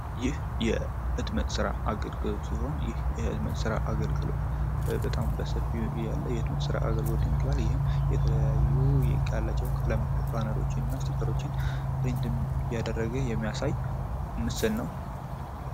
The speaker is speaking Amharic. ይህ የህትመት ስራ አገልግሎት ሲሆን ይህ የህትመት ስራ አገልግሎት በጣም በሰፊው ያለ የትምህርት ስራት አገልግሎት ይህም የተለያዩ ቀለም ባነሮችንና ስቲከሮችን እያደረገ የሚያሳይ ምስል ነው።